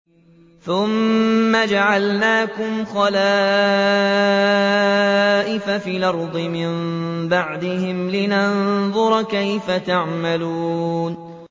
ثُمَّ جَعَلْنَاكُمْ خَلَائِفَ فِي الْأَرْضِ مِن بَعْدِهِمْ لِنَنظُرَ كَيْفَ تَعْمَلُونَ